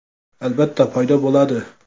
Albatta, paydo bo‘ladi.